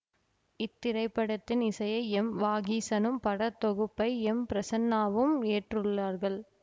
இத்திரைப்படத்தின் இசையை எம்வாகீசனும் படத்தொகுப்பை எம்பிரசன்னாவும் ஏற்றுள்ளார்கள்